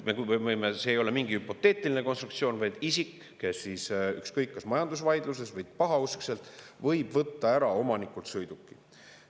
See ei ole mingi hüpoteetiline konstruktsioon, vaid isik, ükskõik kas majandusvaidluses või pahauskselt, võib võtta ära omanikult sõiduki.